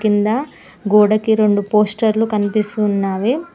కింద గొడకి రెండు పోస్టర్లు కనిపిస్తున్నావి.